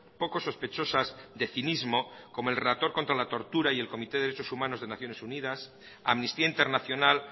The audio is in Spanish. poco sospechosas de cinismo como el relator contra la tortura y el comité de derechos humanos de naciones unidas amnistía internacional